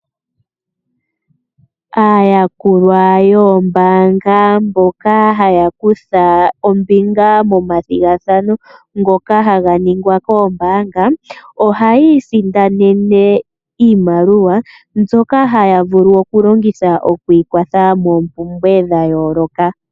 Aayakulwa yoombaanga mboka haya kutha ombinga nomathigathano ngoka haga ningwa koombaanga, ohayi isindanene iimaliwa mbyoka haya vulu okulongitha okwiikwatha moompumbwe dhayooloka.